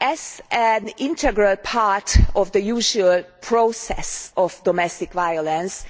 As an integral part of the usual process of domestic violence,